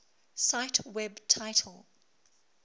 cite web title